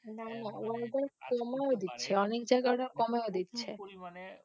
Order কমিয়ে দিচ্ছে অনেক জায়গায় Order কমিয়ে দিচ্ছে।